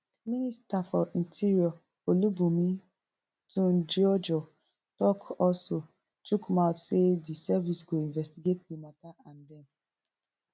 minister for interior olubunmi tunjiojo tok also chook mouth say di service go investigate di matta and dem